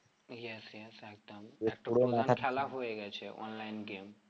Yes yes একদম খেলা হয়ে গেছে online game